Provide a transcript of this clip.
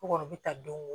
U kɔni u bɛ ta don